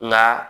Nka